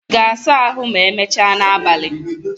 Ị ga-asa ahụ ma emechaa n'abalị?